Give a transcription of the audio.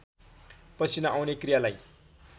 पसिना आउने क्रियालाई